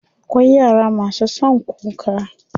Akwai yara masu son kuka.